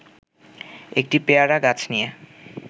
একটি পেয়ারা গাছ নিয়ে